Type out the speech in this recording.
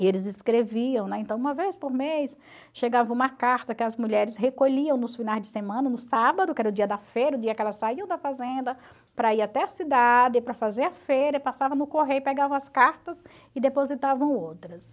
E eles escreviam, né, então uma vez por mês chegava uma carta que as mulheres recolhiam nos finais de semana, no sábado, que era o dia da feira, o dia que elas saíam da fazenda para ir até a cidade, para fazer a feira, passavam no correio, pegavam as cartas e depositavam outras.